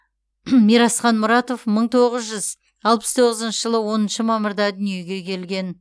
мирасхан мұратов мың тоғыз жүз алпыс тоғызыншы жылы оныншы мамырда дүниеге келген